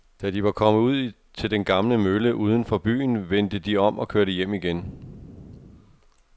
Da de var kommet ud til den gamle mølle uden for byen, vendte de om og kørte hjem igen.